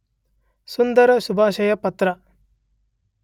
ಸುಂದರ ಶುಭಾಶಯ ಪತ್ರ.